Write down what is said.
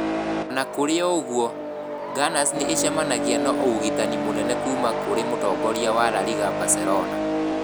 O na kũrĩ ũguo, Gunners nĩ ĩcemanagia na ũgitani mũnene kuuma kũrĩ mũtongoria wa La Liga, Barcelona.